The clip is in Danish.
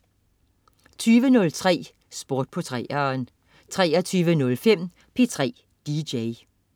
20.03 Sport på 3'eren 23.05 P3 DJ